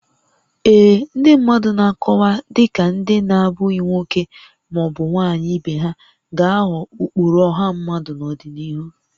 Ee, ndị mmadụ na-akọwa dị ka ndị na-abụghị nwoke ma ọ bụ nwanyị ibe ha ga-aghọ ụkpụrụ ọha mmadụ n'ọdịnihu